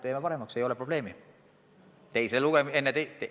Teeme paremaks – ei ole probleemi.